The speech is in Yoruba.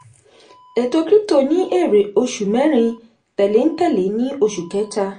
ètò krípútò ní èrè oṣù mẹ́rin tẹ̀léńtẹ̀lé ní oṣù kẹta.